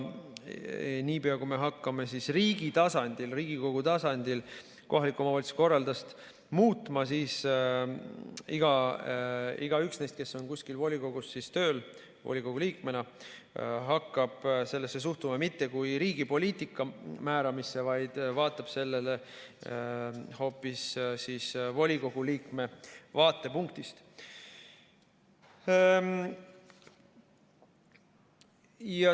Niipea, kui me hakkame riigi tasandil, Riigikogu tasandil kohaliku omavalitsuse korraldust muutma, siis igaüks neist, kes on kuskil volikogus tööl volikogu liikmena, hakkab sellesse suhtuma mitte kui riigi poliitika määramisse, vaid vaatab sellele hoopis volikogu liikme vaatepunktist.